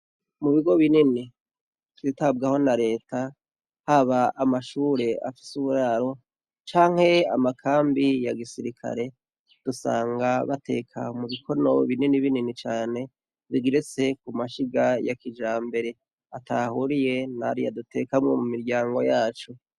Mubigo binini vyitabwaho na reta haba amashure afise uburaro, canke amakambi yagisirikire, usanga bateka mu bikono binini binini cane, bigeretse mu mashiga ya kijambere, ataho ahuriye nariya dutekamwo mu miryango yacu.